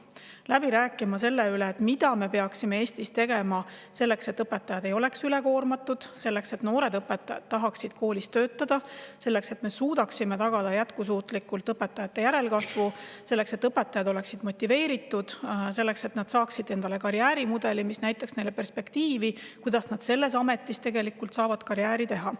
Hakanud läbi rääkima selle üle, mida me peaksime Eestis tegema selleks, et õpetajad ei oleks üle koormatud, et noored õpetajad tahaksid koolis töötada, et me suudaksime jätkusuutlikult tagada õpetajate järelkasvu, et õpetajad oleksid motiveeritud ja nad saaksid endale karjäärimudeli, mis näitaks neile perspektiivis, kuidas nad selles ametis saavad karjääri teha.